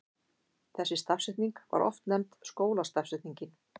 Þessi stafsetning var oft nefnd skólastafsetningin.